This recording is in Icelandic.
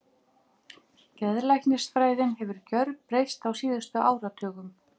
Geðlæknisfræðin hefur gjörbreyst á síðustu áratugum.